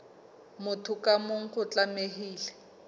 motho ka mong o tlamehile